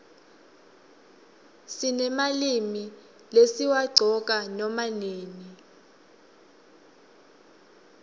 sinemalimi lesiwaqcoka nama nini